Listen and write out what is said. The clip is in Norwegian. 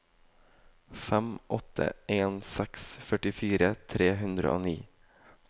fem åtte en seks førtifire tre hundre og ni